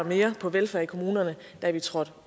mere på velfærd i kommunerne da vi trådte